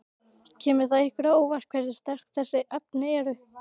Kemur það ykkur á óvart hversu sterk þessi efni eru?